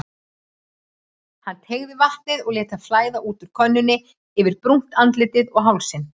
Hann teygaði vatnið og lét það flæða út úr könnunni yfir brúnt andlitið og hálsinn.